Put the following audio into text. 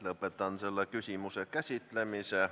Lõpetan selle küsimuse käsitlemise.